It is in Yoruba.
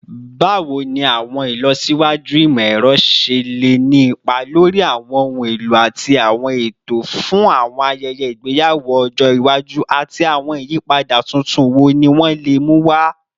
Bawo ni awọn ilọsiwaju imọ-ẹrọ ṣe le ni ipa lori awọn ohun elo ati awọn eto fun awọn ayẹyẹ igbeyawo ọjọ iwaju, ati awọn iyipada tuntun wo ni wọn le mu wa?